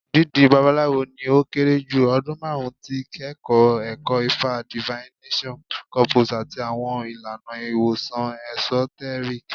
Dídí Babalawo ni o kere ju ọdun marun ti kikọ ẹkọ Ifa divination corpus ati awọn ilana iwosan esoteric.